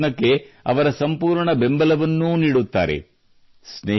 ಹಾಗೂ ಈ ಪ್ರಯತ್ನಕ್ಕೆ ಅವರ ಸಂಪೂರ್ಣ ಬೆಂಬಲವನ್ನೂ ನೀಡುತ್ತಾರೆ